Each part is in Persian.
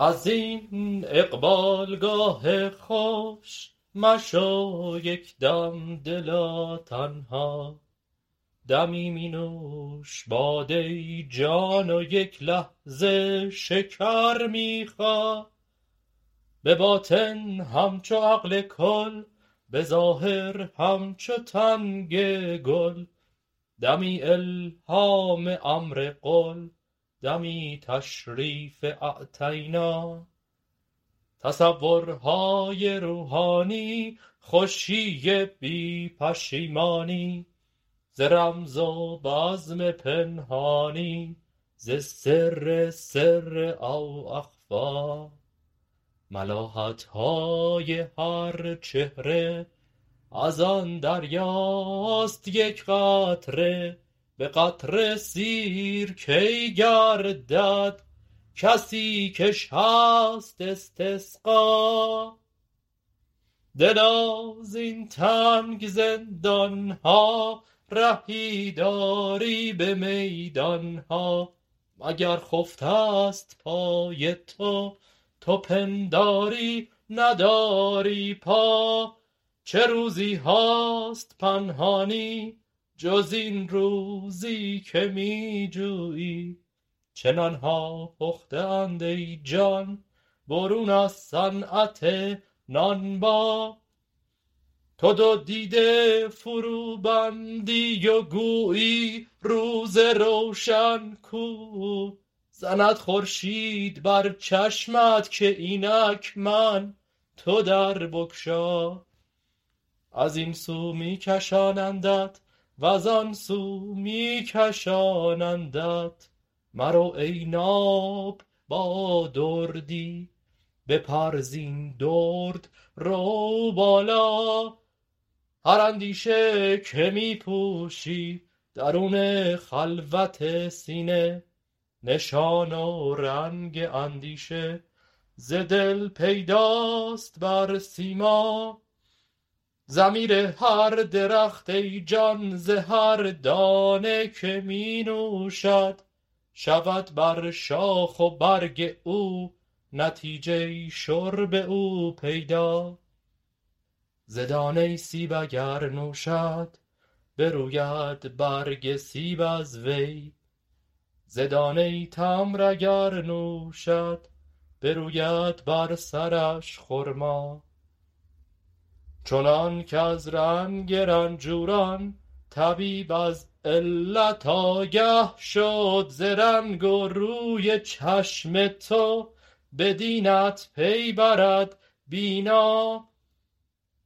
از این اقبالگاه خوش مشو یک دم دلا تنها دمی می نوش باده جان و یک لحظه شکر می خا به باطن همچو عقل کل به ظاهر همچو تنگ گل دمی الهام امر قل دمی تشریف اعطینا تصورهای روحانی خوشی بی پشیمانی ز رزم و بزم پنهانی ز سر سر او اخفی ملاحت های هر چهره از آن دریاست یک قطره به قطره سیر کی گردد کسی کش هست استسقا دلا زین تنگ زندان ها رهی داری به میدان ها مگر خفته ست پای تو تو پنداری نداری پا چه روزی هاست پنهانی جز این روزی که می جویی چه نان ها پخته اند ای جان برون از صنعت نانبا تو دو دیده فروبندی و گویی روز روشن کو زند خورشید بر چشمت که اینک من تو در بگشا از این سو می کشانندت و زان سو می کشانندت مرو ای ناب با دردی بپر زین درد رو بالا هر اندیشه که می پوشی درون خلوت سینه نشان و رنگ اندیشه ز دل پیداست بر سیما ضمیر هر درخت ای جان ز هر دانه که می نوشد شود بر شاخ و برگ او نتیجه شرب او پیدا ز دانه سیب اگر نوشد بروید برگ سیب از وی ز دانه تمر اگر نوشد بروید بر سرش خرما چنانک از رنگ رنجوران طبیب از علت آگه شد ز رنگ و روی چشم تو به دینت پی برد بینا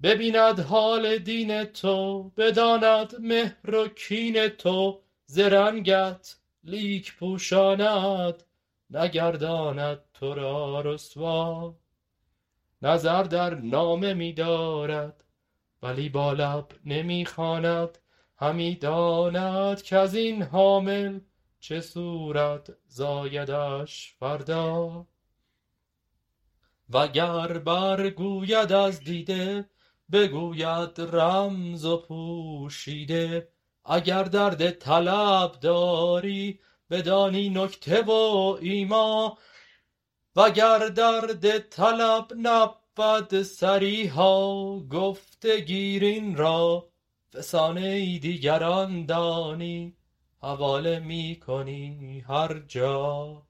ببیند حال دین تو بداند مهر و کین تو ز رنگت لیک پوشاند نگرداند تو را رسوا نظر در نامه می دارد ولی با لب نمی خواند همی داند کز این حامل چه صورت زایدش فردا وگر برگوید از دیده بگوید رمز و پوشیده اگر درد طلب داری بدانی نکته و ایما وگر درد طلب نبود صریحا گفته گیر این را فسانه دیگران دانی حواله می کنی هر جا